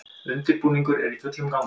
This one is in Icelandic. Undirbúningur er í fullum gangi